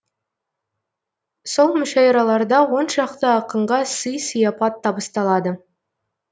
сол мүшәйраларда оншақты ақынға сый сияпат табысталады